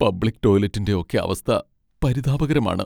Public ടോയ്ലെറ്റിൻ്റെ ഒക്കെ അവസ്ഥ പരിതാപകരമാണ്.